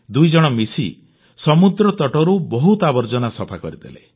ଦୁଇଜଣ ମିଶି ସମୁଦ୍ରତଟରୁ ବହୁତ ଆବର୍ଜନା ସଫା କରିଦେଲେ